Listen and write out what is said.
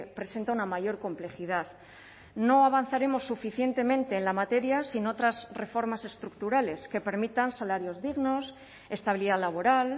presenta una mayor complejidad no avanzaremos suficientemente en la materia sin otras reformas estructurales que permitan salarios dignos estabilidad laboral